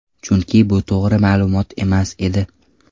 Chunki, bu to‘g‘ri ma’lumot emas edi.